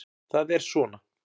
Það er svona.